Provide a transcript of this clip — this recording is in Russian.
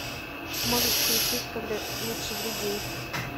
можешь включить когда лучший друг гей